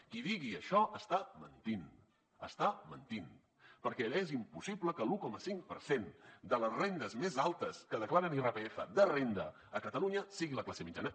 qui digui això està mentint està mentint perquè és impossible que l’un coma cinc per cent de les rendes més altes que declaren irpf de renda a catalunya sigui la classe mitjana